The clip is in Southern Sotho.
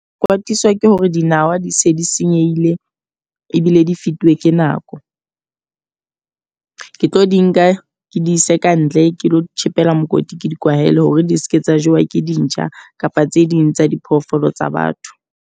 Ke kwatiswa ke hore dinawa di se di senyehile ebile di fetuwe ke nako. Ke tlo di nka ke di ise kantle ke lo tjhekela mokoti ke di kwahela hore di seke tsa jewa ke dintjha kapa tse ding tsa diphoofolo tsa batho.